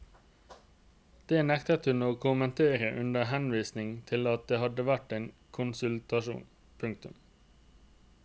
Det nektet hun å kommentere under henvisning til at det hadde vært en konsultasjon. punktum